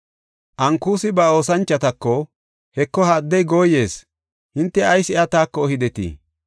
Ankusi ba oosanchotako, “Heko, ha addey gooyees; hinte ayis iya taako ehidetii?